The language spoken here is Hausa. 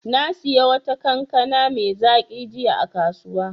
Na sayi wata kankana mai zaƙi jiya a kasuwa.